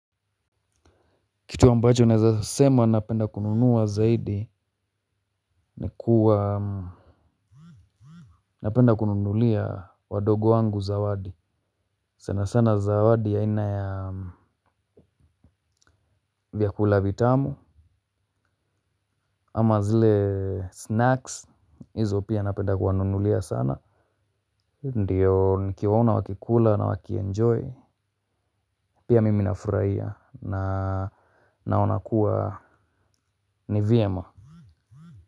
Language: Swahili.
Kitu ambacho naweza sema napenda kununua zaidi ni kuwa napenda kununulia wadogo wangu zawadi sana sana zawadi ya aina ya vyakula vitamu. Ama zile snacks hizo pia napenda kuwanunulia sana. Ndio nikiwaona wakikula na wakienjoy. Pia mimi nafurahia na naona kuwa ni vyema.